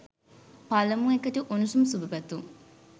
පළමු එකට උණුසුම් සුබ පැතුම්